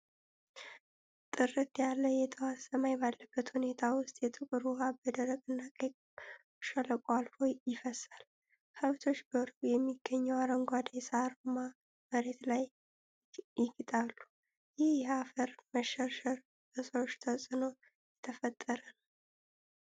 ጥርት ያለ የጠዋት ሰማይ ባለበት ሁኔታ ውስጥ ጥቁር ውሃ በደረቅና ቀይ ሸለቆ አልፎ ይፈሳል። ከብቶች በሩቅ በሚገኘው አረንጓዴ ሣርማ መሬት ላይ ይግጣሉ። ይህ የአፈር መሸርሸር በሰዎች ተጽዕኖ የተፈጠረ ነው?